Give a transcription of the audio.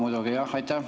Minul ka muidugi.